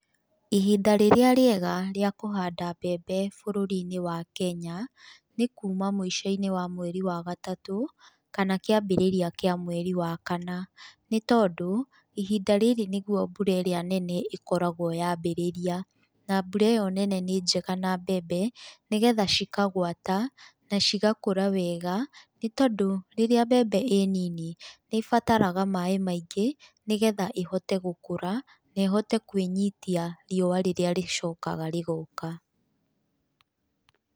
Ihinda rĩrĩa rĩega rĩa kũhanda mbembe bũrũri-inĩ wa Kenya, nĩ kuuma mũico-inĩ wa mweri wa gatatũ, kana kĩambĩrĩria kĩa mweri wa kana, nĩ tondũ ihinda rĩrĩ nĩguo mbura ĩrĩa nene ĩkoragwo yambĩrĩria, na mbura ĩyo nene nĩ njega na mbembe, nĩgetha cikagwata na cigakũra wega, nĩ tondũ rĩrĩa mbembe ĩ nini, nĩ ĩbataraga maĩ maingĩ, nĩgetha ĩhote gũkũra na ĩhote kwĩnyitia riũa rĩrĩa rĩcokaga rĩgoka.